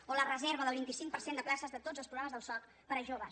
o la reserva del vint cinc per cent de places de tots els programes del soc per a joves